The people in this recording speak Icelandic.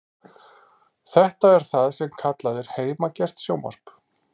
Þetta er það sem kallað er heimagert sjónvarp.